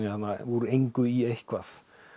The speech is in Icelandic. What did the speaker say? úr engu í eitthvað